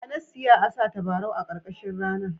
Ya nasiya a sa tabarau a karkashin rana.